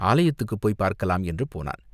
ஆலயத்துக்குப் போய்ப் பார்க்கலாம் என்று போனான்.